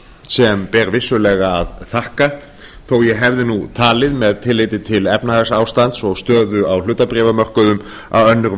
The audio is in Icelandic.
sem ber vissulega að þakka þó ég hefði talið með tilliti til efnahagsástands og stöðu á hlutabréfamörkuðum að önnur